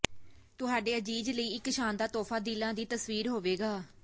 ਤੁਹਾਡੇ ਅਜ਼ੀਜ਼ ਲਈ ਇੱਕ ਸ਼ਾਨਦਾਰ ਤੋਹਫ਼ਾ ਦਿਲਾਂ ਦੀ ਤਸਵੀਰ ਹੋਵੇਗਾ